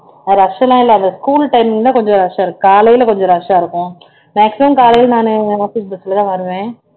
rush எல்லாம் இல்ல அந்த school timing தான் கொஞ்சம் rush ஆ இருக்கும் காலையில கொஞ்சம் rush ஆ இருக்கும் maximum காலையில நானு office bus ல தான் வருவேன்